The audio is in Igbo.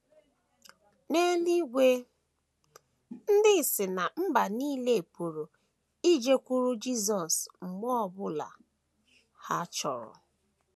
N’eluigwe, ndị si ná mba nile pụrụ ijekwuru Jisọs mgbe ọ bụla ha chọrọ.